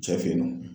Cɛ fe yen nɔ